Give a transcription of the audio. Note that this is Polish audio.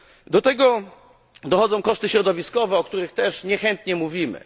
Do tego dochodzą koszty środowiskowe, o których też niechętnie mówimy.